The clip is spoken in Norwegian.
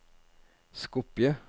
Skopje